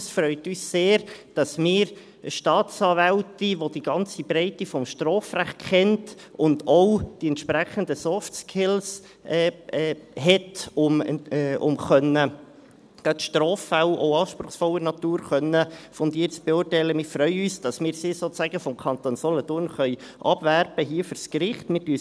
Es freut uns sehr, dass wir eine Staatsanwältin, welche die ganze Breite des Strafrechts kennt und auch die entsprechenden Softskills hat, um gerade auch Straffälle anspruchsvoller Natur fundiert beurteilen zu können, sozusagen vom Kanton Solothurn fürs hiesige Gericht abwerben können.